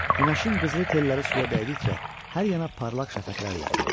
Günəşin qızılı telləri suya dəydikcə hər yana parlaq şəfəqlər yayılırdı.